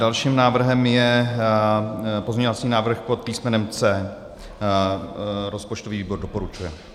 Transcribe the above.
Dalším návrhem je pozměňovací návrh pod písmenem C. Rozpočtový výbor doporučuje.